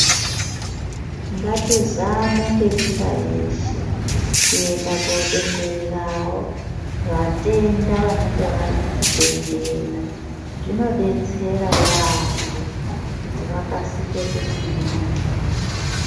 Ngatizame ngenjira yeshe kuenda kodongorerawo vatenda vanenge vari muzvibhehlera zvinodetsera yaamho kuti vakasike kugwinya.